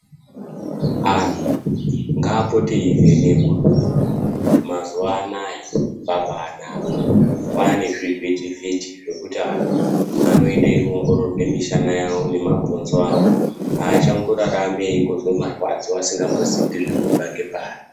Anhu ngapote eivhenekwa mazuva anawa zvabanakaa nezvivhiti vhiti zvekuita anhu anoenda eiongororwa nharaunda nemadziso awo achangorarami einzwa marwadzo kuti achangobva pai.